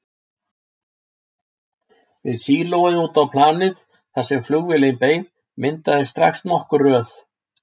Við sílóið út á planið, þar sem flugvélin beið, myndaðist strax nokkur röð.